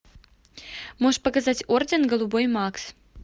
можешь показать орден голубой макс